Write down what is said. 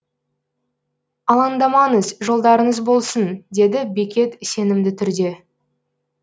алаңдамаңыз жолдарыңыз болсын деді бекет сенімді түрде